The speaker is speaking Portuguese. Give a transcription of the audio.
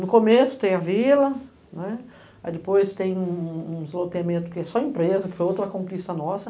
No começo tem a vila, depois tem um loteamento que é só empresa, que foi outra conquista nossa.